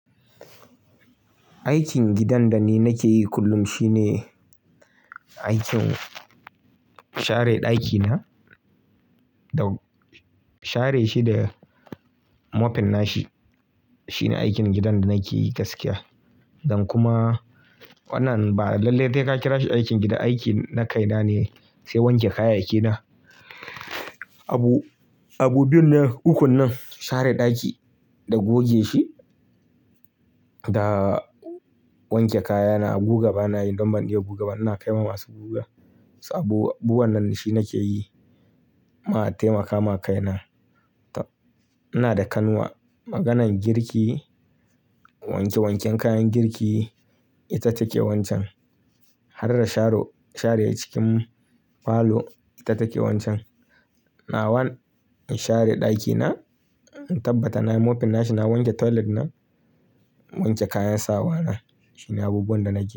Aikin gidan da ni nake yi kullum shine aikin share ɗakina da share shi da mopin nashi. Shine aikin gidan da nakeyi gaskiya. Don kuma wannan ba lallai dai ka kira shi aikin gida, aiki na kaina ne, sai wanke kayayyaki na. Abu, abu biyun nan ukun nan share ɗaki da goge shi da wanke kayana a guga bana yi. Don ban iya guga ba, ina kai ma masu guga. Sabo, abubuwan nan shine nake yi, ma taimaka ma kaina. Ina da kanwa, maganan girki, wanke wanken kayan girki ita take wancan. Har da sharo, share cikin falo ita take wancan. Na wan, in share ɗakina, in tabbata na yi mopin nashi, na wanke toilet na, na wanke kayan sawa na. Shine abubuwan da nake yi.